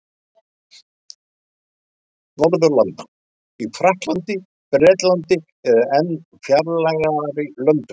Norðurlanda: í Frakklandi, Bretlandi eða enn fjarlægari löndum.